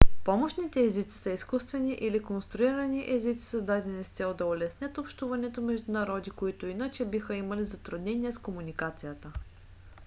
помощните езици са изкуствени или конструирани езици създадени с цел да улеснят общуването между народи които иначе биха имали затруднения с комуникацията